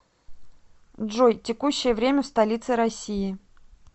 джой текущее время в столице россии